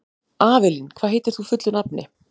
Avelín, hvað heitir þú fullu nafni?